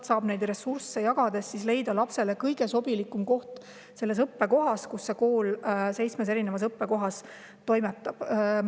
Ressursse jagades saab leida lapsele kõige sobilikuma koha nende seitsme erineva õppekoha seast, kus see kool toimetab.